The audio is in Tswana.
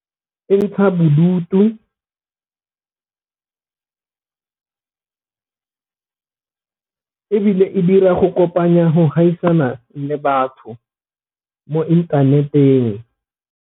E ntsha bodutu , ebile e dira go kopanya go gaisana le batho mo inthaneteng.